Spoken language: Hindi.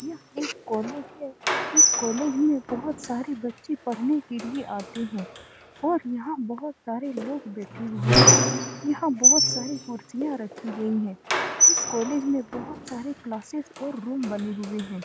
यह एक कॉलेज है। इस कॉलेज में बहुत सारे बच्चे पढ़ने के लिए आते हैं और यहाँ बहुत सारे लोग बैठे हुए हैं। यहाँ बहुत सारी कुर्सिया रखी गई है। इस कॉलेज में बहुत सारी क्लासेज और रूम बने हुए हैं।